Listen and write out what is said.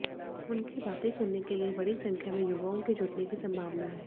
उनकी बातें सुनने के लिए बड़ी संख्या में युवओं के जुटने की संभावना है